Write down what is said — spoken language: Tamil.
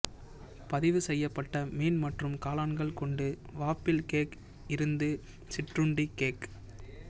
பதிவு செய்யப்பட்ட மீன் மற்றும் காளான்கள் கொண்டு வாப்பிள் கேக் இருந்து சிற்றுண்டி கேக்